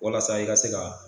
Walasa i ka se ka